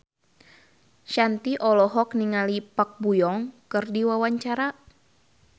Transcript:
Shanti olohok ningali Park Bo Yung keur diwawancara